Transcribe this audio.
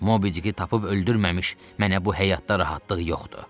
Mobidiki tapıb öldürməmiş, mənə bu həyatda rahatlıq yoxdur.